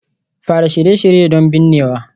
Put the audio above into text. Fara Shirye-shirye don binnewa